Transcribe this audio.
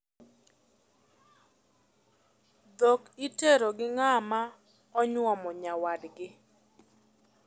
Dhok itero gi ng'ama onyuomo nyawadgi.